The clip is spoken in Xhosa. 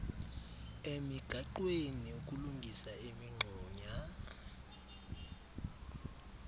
emigaqweni ukulungisa imingxunya